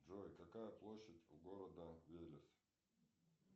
джой какая площадь у города велес